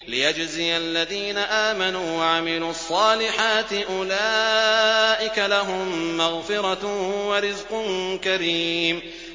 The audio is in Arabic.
لِّيَجْزِيَ الَّذِينَ آمَنُوا وَعَمِلُوا الصَّالِحَاتِ ۚ أُولَٰئِكَ لَهُم مَّغْفِرَةٌ وَرِزْقٌ كَرِيمٌ